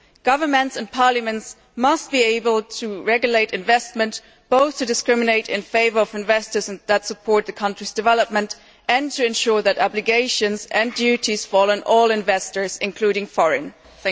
Governments and parliaments must be able to regulate investment, both to discriminate in favour of investors that support their country's development, and to ensure that obligations and duties fall on all investors, including foreign investors.